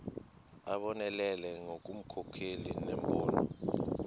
abonelele ngobunkokheli nembono